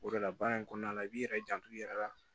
O de la baara in kɔnɔna la i b'i yɛrɛ janto i yɛrɛ la